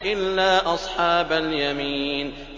إِلَّا أَصْحَابَ الْيَمِينِ